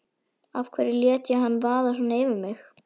Af hverju lét ég hann vaða svona yfir mig!